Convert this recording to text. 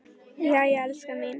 Jæja, elskan mín.